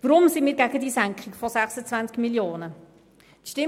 Weshalb sind wir gegen die Senkung von 26 Mio. Franken?